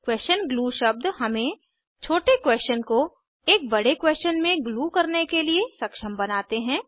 question glue शब्द हमें छोटे क्वेशन को एक बड़े क्वेशन में ग्लू करने के लिए सक्षम बनाते हैं